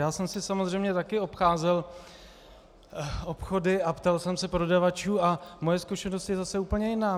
Já jsem si samozřejmě taky obcházel obchody a ptal jsem se prodavačů a moje zkušenost je zase úplně jiná.